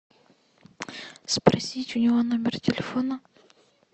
спросить у него номер телефона